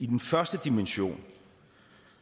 den første dimension